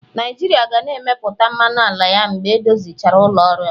Naijiria ga na-emepụta mmanụ ala ya mgbe edozichara ụlọ ọrụ a.